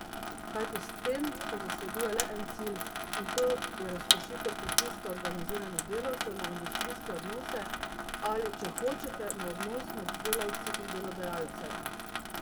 Kajti s tem se zasleduje le en cilj, in to je razpršitev pritiska organiziranih delavcev na industrijske odnose, ali če hočete, na odnos med delavci in delodajalcem.